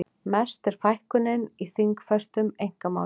Mest er fækkunin í þingfestum einkamálum